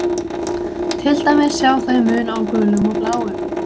Til dæmis sjá þau mun á gulum og bláum.